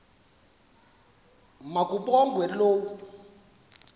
ma kabongwe low